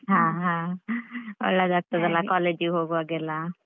ಅಹ್ ಅಹ್ ಒಳ್ಳೆದಾಗ್ತದಲ್ಲ college ಇಗ್ ಹೋಗುವಾಗ್ಯೆಲ್ಲ.